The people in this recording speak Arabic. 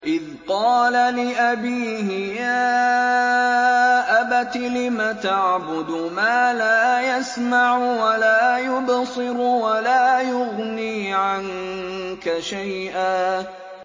إِذْ قَالَ لِأَبِيهِ يَا أَبَتِ لِمَ تَعْبُدُ مَا لَا يَسْمَعُ وَلَا يُبْصِرُ وَلَا يُغْنِي عَنكَ شَيْئًا